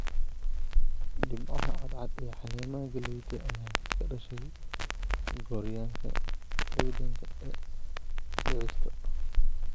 Dhibcaha cad cad ee caleemaha galleyda ayaa ka dhashay gooryaanka ciidanka ee dhicista.